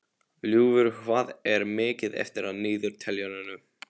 Ljúfur, hvað er mikið eftir af niðurteljaranum?